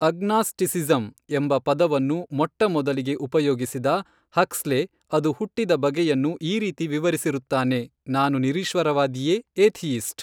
Agnosticism ಎಂಬ ಪದವನ್ನು ಮೊಟ್ಟಮೊದಲಿಗೆ ಉಪಯೋಗಿಸಿದ ಹಕ್ಸ್ಲೆ ಅದು ಹುಟ್ಟಿದ ಬಗೆಯನ್ನು ಈ ರೀತಿ ವಿವರಿಸಿರುತ್ತಾನೆ ನಾನು ನಿರೀಶ್ವರವಾದಿಯೆ ಏಥಿಯಿಸ್ಟ್?